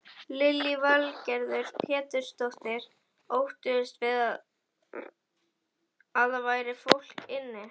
Lillý Valgerður Pétursdóttir: Óttuðust þið að það væri fólk inni?